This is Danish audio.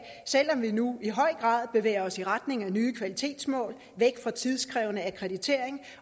selv om vi nu i høj grad bevæger os i retning af nye kvalitetsmål væk fra tidskrævende akkreditering